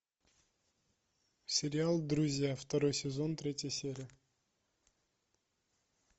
сериал друзья второй сезон третья серия